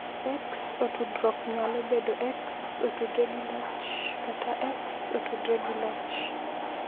X otudruok nyalo bedo X otudore gi loch kata X otudore gi loch.